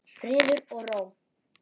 Friður og ró.